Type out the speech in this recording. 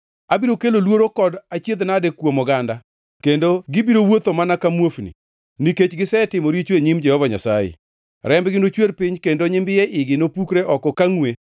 “Abiro kelo luoro kod achiedh-nade kuom oganda kendo gibiro wuotho mana ka muofni, nikech gisetimo richo e nyim Jehova Nyasaye. Rembgi nochwer piny kendo nyimbiye igi nopukre oko ka ngʼwe.